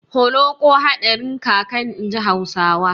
Holoƙo hadarin kaka, inji Hausawa.